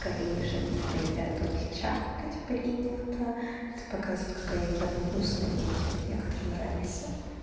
в корее же они когда едят у них чавкать принято это показывает какая еда вкусная и типа некоторым нравится